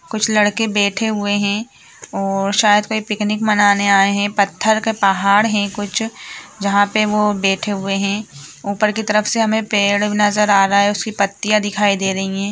कुछ लड़के बैठे हुए है और शायद कोई पिकनिक मनाने आए है पत्थर का पहाड़ है कुछ जहा पे वो बैठे हुए है ऊपर की तरफ से हमे पेड़ नज़र आ रहा है उसकी पत्तियां दिखाई दे रही हैं।